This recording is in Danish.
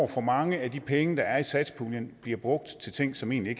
for mange af de penge der er i satspuljen bliver brugt til ting som egentlig